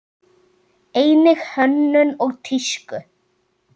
Einnig hönnun og tísku.